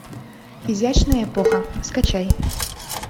изящная эпоха скачай